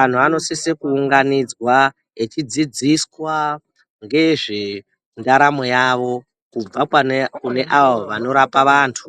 Antu anosise kuundanidzwa eidzidziswa ngezve ndaramo yavo. Kubva pane avo vanorape vantu